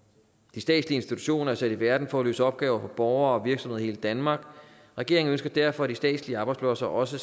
de statslige institutioner er sat i verden for at løse opgaver for borgere og virksomheder i hele danmark regeringen ønsker derfor at de statslige arbejdspladser også